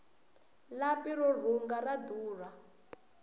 lapi ro rhunga ra durha